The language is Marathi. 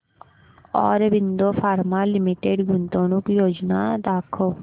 ऑरबिंदो फार्मा लिमिटेड गुंतवणूक योजना दाखव